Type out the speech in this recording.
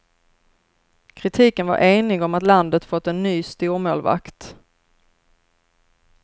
Kritiken var enig om att landet fått en ny stormålvakt.